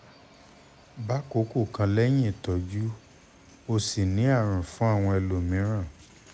bákòókò kan lẹ́yìn ìtọ́jú o ò sì ní àrùn fún àwọn ẹlòmíràn